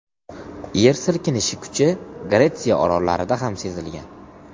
Yer silkinishi kuchi Gretsiya orollarida ham sezilgan.